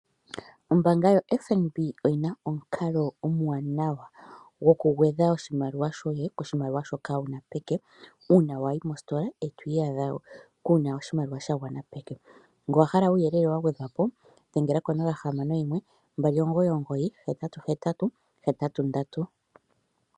Ombaanga ya FNB oyina omukalo omwaanawa goku gwedha oshimaliwa shoye koshimaliwa shoye shoka wuna peke uuna Wayi mositola etwiiyadha kuuna oshimaliwa sha gwana peke. Kuuyelele wa gwedhwa po dhengela konomola yo 061 299 8883